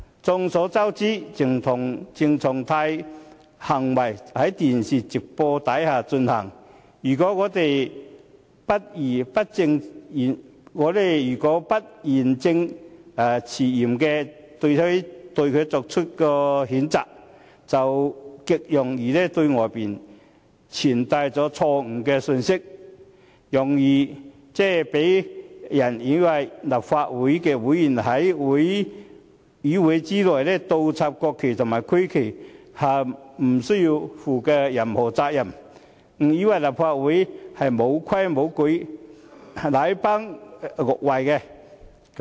眾所周知，鄭松泰的行為在電視直播下進行，如果我們不義正詞嚴地對他作出譴責，便極容易對外傳遞錯誤的信息，容易讓人誤以為立法會議員在議會內倒插國旗和區旗也不用負上任何責任、誤以為立法會沒規沒矩、禮崩樂壞。